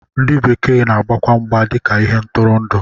Ndị bekee na-agbakwa mgba dịka ihe ntụrụndụ